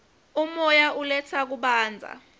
umoya uletsa kubanza